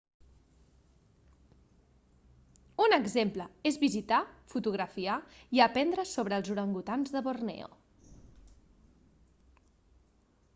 un exemple és visitar fotografiar i aprendre sobre els orangutans de borneo